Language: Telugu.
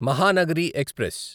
మహానగరి ఎక్స్ప్రెస్